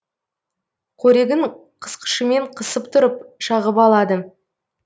қорегін қысқышымен қысып тұрып шағып алады